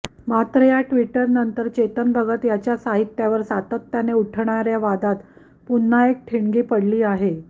मात्र या टि्वटनंतर चेतन भगत याच्या साहित्यावर सातत्याने उठणाऱ्या वादात पुन्हा एक ठिणगी पडली आहे